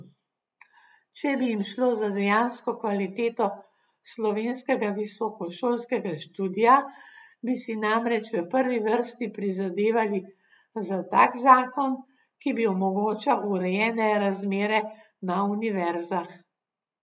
Če bi jim šlo za dejansko kvaliteto slovenskega visokošolskega študija, bi si namreč v prvi vrsti prizadevali za tak zakon, ki bi omogočal urejene razmere na univerzah.